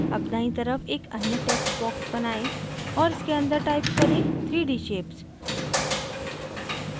अब दायीं तरफ एक अन्य text box बनाएं और इसके अंदर type करें 3d shapes